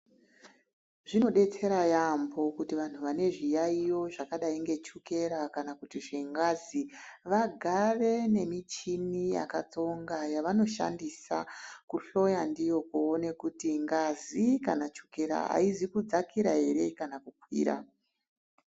Zvinodetsera yaamho kuti vanhu vane zviyaiyo zvakadai nechekora kana kuti zvengazi vagare nemichini yakatsonga yavonoshandisa kuhloya ndiyo kuti ngazi kana chokera haizi kudzakira here kana kukwira.